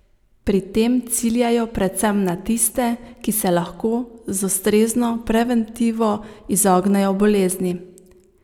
Pri tem ciljajo predvsem na tiste, ki se lahko z ustrezno preventivo izognejo bolezni.